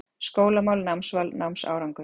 SKÓLAMÁL, NÁMSVAL, NÁMSÁRANGUR